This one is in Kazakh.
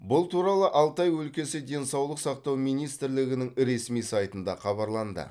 бұл туралы алтай өлкесі денсаулық сақтау министрлігінің ресми сайтында хабарланды